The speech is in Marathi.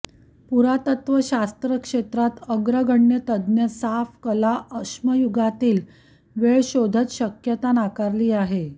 पुरातत्व शास्त्र क्षेत्रात अग्रगण्य तज्ञ साफ कला अश्मयुगातील वेळ शोधत शक्यता नाकारली आहे